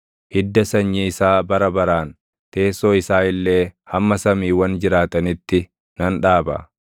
Hidda sanyii isaa bara baraan, teessoo isaa illee hamma samiiwwan jiraatanitti nan dhaaba.